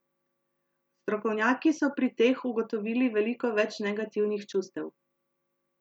Strokovnjaki so pri teh ugotovili veliko več negativnih čustev.